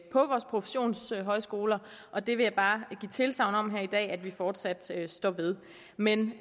på vores professionshøjskoler og det vil jeg bare give tilsagn om her i dag at vi fortsat står ved men